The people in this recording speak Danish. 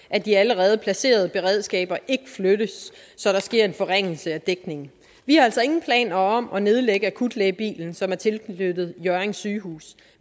at de allerede placerede beredskaber ikke flyttes så der sker en forringelse af dækningen vi har altså ingen planer om at nedlægge akutlægebilen som er tilknyttet hjørring sygehus